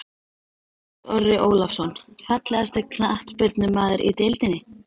Lárus Orri Ólafsson Fallegasti knattspyrnumaðurinn í deildinni?